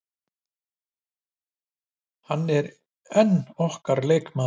Hann er enn okkar leikmaður.